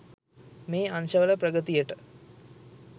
මේ අංශවල ප්‍රගතියට